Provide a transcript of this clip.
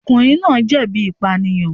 Ọkùnrin náà jẹ̀bi ìpànìyàn.